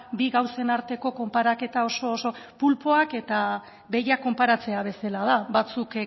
bi gauzen arteko konparaketa oso oso pulpoak eta behiak konparatzea bezala da batzuk